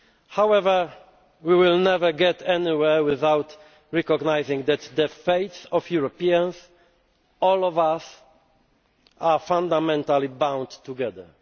principles. However, we will never get anywhere without recognising that the fates of Europeans, of all of us, are fundamentally bound